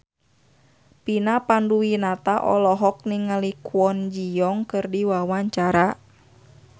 Vina Panduwinata olohok ningali Kwon Ji Yong keur diwawancara